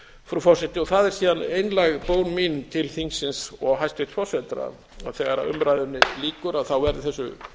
frú forseti það er síðan einlæg bón mín til þingsins og hæstvirtan forseta að þegar umræðunni lýkur verði þessu